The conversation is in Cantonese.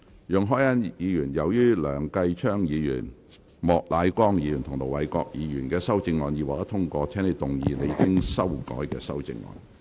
容海恩議員，由於梁繼昌議員、莫乃光議員及盧偉國議員的修正案已獲得通過，請動議你經修改的修正案。